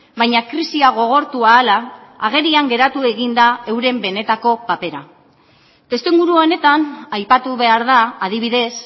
baina krisia gogortu ahala agerian geratu eginda euren benetako papera testuinguru honetan aipatu behar da adibidez